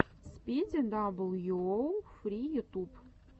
спиди дабл ю оу фри ютуб